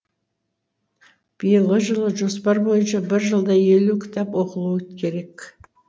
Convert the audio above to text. биылғы жылғы жоспар бойынша бір жылда елу кітап оқылуы керек